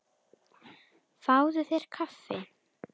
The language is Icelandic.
Fáðu þér kaffi.